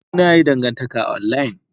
Ee, na yi dangantaka a online.